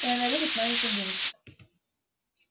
и она любит маленьких девочек